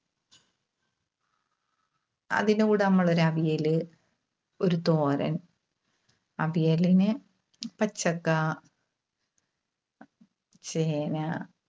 അതിനുകൂടെ നമ്മള് ഒരു അവിയല്, ഒരു തോരൻ. അവിയലിന് പച്ചക്കാ, ചേന